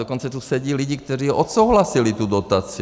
Dokonce tu sedí lidi, kteří odsouhlasili tu dotaci.